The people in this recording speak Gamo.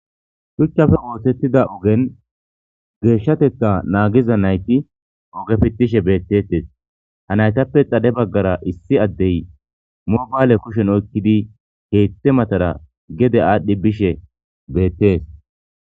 Shuchchafe woossettida ugen geeshshatetta naagiza nayti ogefittishe beettetes ha naytappe xade baggara issi addey mobaale kushen oykkidi heette matara gede aadhdhi bishe beettes.